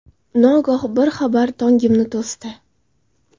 Nogoh bir xabar Tongimni to‘sdi.